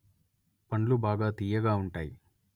పండ్లు బాగా తీయగా ఉంటాయి